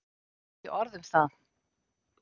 Ekki orð um það.